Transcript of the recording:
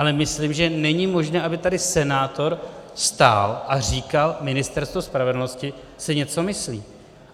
Ale myslím, že není možné, aby tady senátor stál a říkal: Ministerstvo spravedlnosti si něco myslí.